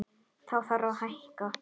Þá þarf að hækka.